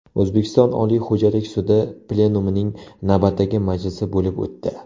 O‘zbekiston Oliy xo‘jalik sudi plenumining navbatdagi majlisi bo‘lib o‘tdi.